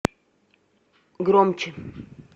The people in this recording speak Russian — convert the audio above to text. громче